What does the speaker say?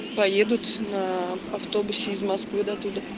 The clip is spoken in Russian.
поедут на автобусе из москвы до туда